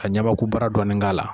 Ka ɲamaku bara dɔɔni k'ala.